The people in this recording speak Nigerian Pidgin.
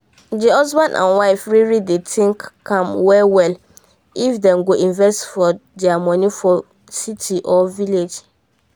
the husband and wife really dey think am well well if them go invest for their money for city or village